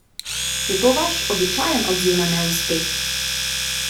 Je to vaš običajen odziv na neuspeh?